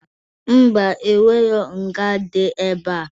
Ḿbà, enwerọ nga dị ebea